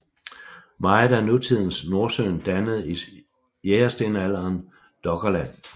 Meget af nutidens Nordsøen dannede i jægerstenalderen Doggerland